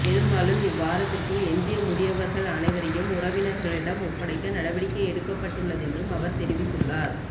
பெரும்பாலும் இவ்வாரத்திற்குள் எஞ்சிய முதியவர்கள் அனைவரையும் உறவினர்களிடம் ஒப்படைக்க நடவடிக்கை எடுக்கப்பட்டுள்ளதென்றும் அவர் தெரிவித்துள்ளார்